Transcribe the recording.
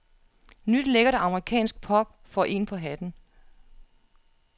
Nyt lækkert amerikansk pop får en på hatten.